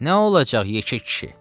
Nə olacaq, yekə kişi?